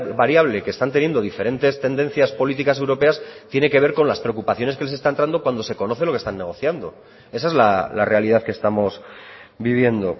variable que están teniendo diferentes tendencias políticas europeas tiene que ver con las preocupaciones que les está entrando cuando se conoce lo que están negociando esa es la realidad que estamos viviendo